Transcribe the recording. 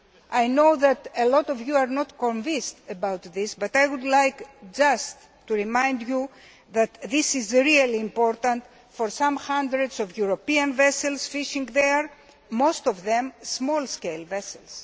I know that a lot of you are not convinced about this, but I would just like to remind you that this is really important for some hundreds of European vessels fishing there, most of which are small scale vessels.